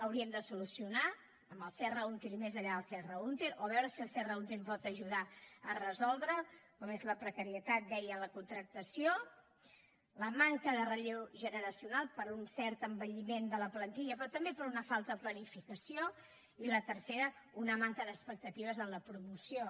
hauríem de solucionar amb el serra húnter i més enllà del serra húnter o veure si el serra húnter ens pot ajudar a resoldre com són la precarietat deia en la contractació la manca de relleu generacional per un cert envelliment de la plantilla però també per una falta de planificació i la tercera una manca d’expectatives en la promoció